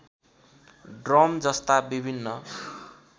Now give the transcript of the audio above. drum जस्ता विभिन्न